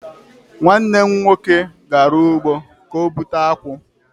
Nwanne m nwoke gara ugbo ka o bụte akwu